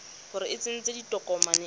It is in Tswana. gore o tsentse tokomane e